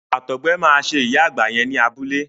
Àtọgbẹ máa ṣe ìyá àgbà yẹn ní abúlé.